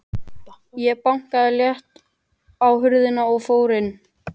Ég bankaði létt á hurðina og fór inn.